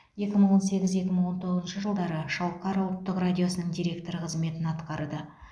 екі мың он сегіз екі мың он тоғызыншы жылдары шалқар ұлттық радиосының директоры қызметін атқарды